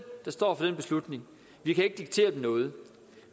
der står for den beslutning vi kan ikke diktere dem noget